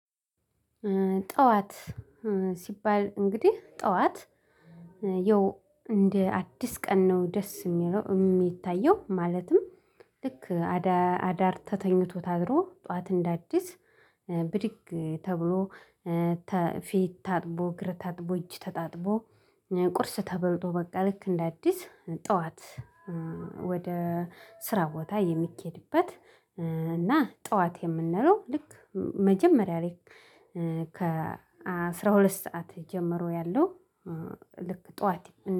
ጠዋት ሲባል እንግዲህ ጠዋት ይኸው እንደ አዲስ ቀን ነው ደስ የሚለው የሚታየው ማለትም። ልክ አዳር ተተኝቶ አድሮ ጠዋት እንዳዲስ ብድግ ተብሎ። ፊት ታጥቦ እግር ታጥቦ እጅ ተታጥቦ ቁርስ ተበልጦ በቃ ልክ እንደ አዲስ ጠዋት። ወደ ስራ ቦታ የሚኬድበት። እና ጠዋት የምንለው ልክ መጀመሪያ ላይ ከ አስራ ሁለት ሰዓት ጀምሮ ያለው ልክ ጠዋት